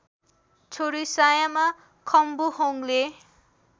छोरी सायामा खम्बुहोङले